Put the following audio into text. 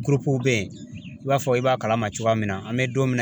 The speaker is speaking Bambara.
Gurupuw bɛ ye i b'a fɔ i b'a kalama cogoya min na an bɛ don min na.